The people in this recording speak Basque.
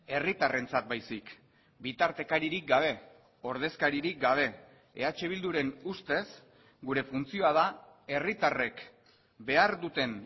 herritarrentzat baizik bitartekaririk gabe ordezkaririk gabe eh bilduren ustez gure funtzioa da herritarrek behar duten